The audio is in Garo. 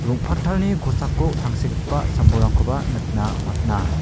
rong·pattalni kosako tangsekgipa sam-bolrangkoba nikna man·a.